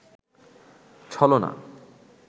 ছলনা